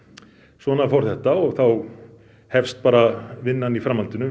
svona fór þetta og þá hefst bara vinnan í framhaldinu